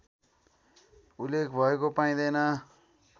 उल्लेख भएको पाइदैन